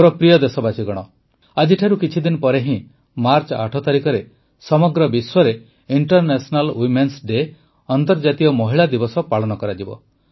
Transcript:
ମୋର ପ୍ରିୟ ଦେଶବାସୀଗଣ ଆଜିଠାରୁ କିଛିଦିନ ପରେ ହିଁ ମାର୍ଚ୍ଚ ୮ ତାରିଖରେ ସମଗ୍ର ବିଶ୍ୱରେ ଇଣ୍ଟରନେସନାଲ୍ ୱିମେନ୍ସ ଡେ ଅନ୍ତର୍ଜାତୀୟ ମହିଳା ଦିବସ ପାଳନ କରାଯିବ